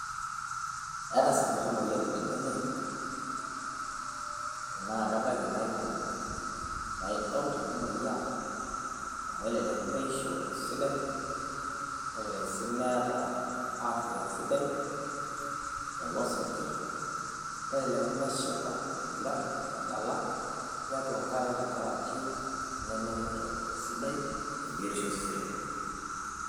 eeta sinkir imoyiaritin enye, naa kebaiki naa kikumok, naa idol tenamoyiaa amu elelek meisho esidai. nelelek sii meeta afia esidai, meinguran tiatua enkare esidai tenkaraki meningito esidai tebiotisho ooseseni lenye.